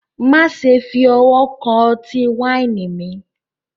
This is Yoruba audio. Maṣẹ fi ọwọ̀ kan ọ̀tí-waini mi